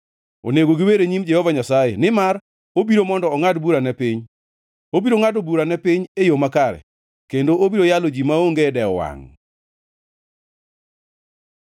onego giwer e nyim Jehova Nyasaye, nimar obiro mondo ongʼad bura ne piny. Obiro ngʼado bura ne piny e yo makare kendo obiro yalo ji maonge dewo wangʼ.